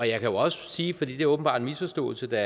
jeg kan jo også sige for det er åbenbart en misforståelse der